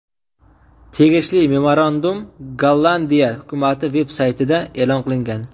Tegishli memorandum Gollandiya hukumati veb-saytida e’lon qilingan.